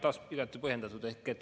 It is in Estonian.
Taas igati põhjendatud küsimus.